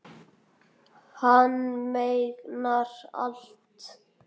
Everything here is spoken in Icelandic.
Hann megnar allt.